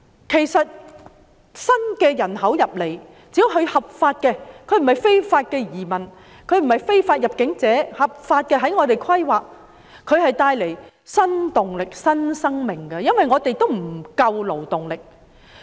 事實上，新來港的人口，只要他們是循合法途徑來港，並不是非法移民或非法入境者，在我們規劃中，便可帶來新動力、新生命，因為我們的勞動力根本不足。